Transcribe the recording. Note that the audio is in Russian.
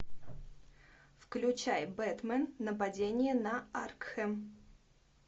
включай бэтмен нападение на аркхэм